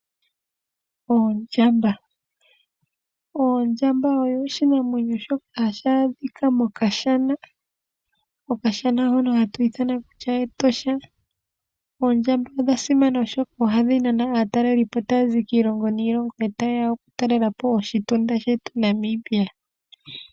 Oondjamba, ondjamba oyo oshinamwenyo tashi adhika mokashana. Okashana hono hatu ithana kutya Etosha. Oondjamba odha simana oshoka ohadhi nana aatalelipo tazi kiilongo niilongo tayeya oku talelapo oshi tinda shetu Namibia.